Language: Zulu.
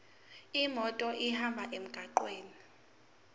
imoto ihambe emgwaqweni